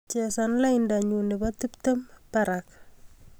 Chesan laindanyu nebo tuptem barak